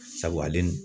Sabu ale dun